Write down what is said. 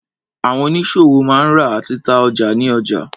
Àwọn oníṣòwò máa ń rà àti ta ọjà ní ọjà.